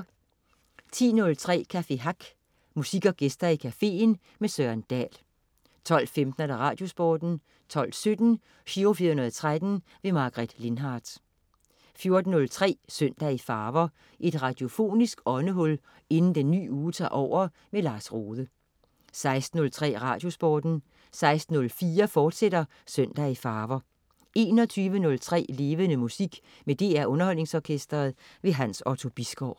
10.03 Café Hack. Musik og gæster i cafeen. Søren Dahl 12.15 Radiosporten 12.17 Giro 413. Margaret Lindhardt 14.03 Søndag i farver. Et radiofonisk åndehul inden en ny uge tager over. Lars Rohde 16.03 Radiosporten 16.04 Søndag i farver, fortsat 21.03 Levende Musik med DR Underholdningsorkestret. Hans Otto Bisgaard